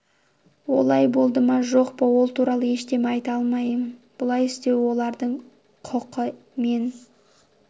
олай болды ма жоқ па ол туралы ештеме айта алмаймын бұлай істеу олардың құқы мен